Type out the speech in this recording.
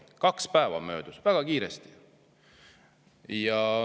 Kaks päeva oli möödunud, väga kiiresti.